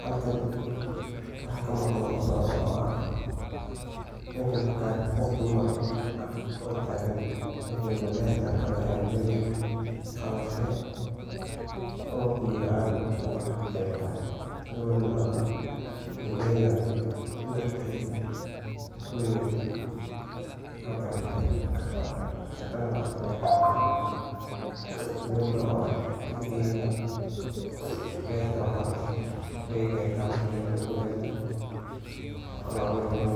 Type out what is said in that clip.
halkan waxaa kamuqada oo socda mesha waxaa arkaa qof dumar oo tagan meshan waa beet galley gawadan oo beraley beerta oo qalashe waay garte umaleyaa gawadan